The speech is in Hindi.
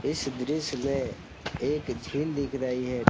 इस दृश्य में एक झील दिख रही है।